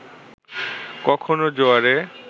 কখনো জোয়ারে